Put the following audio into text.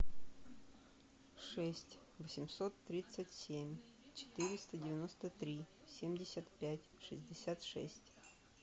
шесть восемьсот тридцать семь четыреста девяносто три семьдесят пять шестьдесят шесть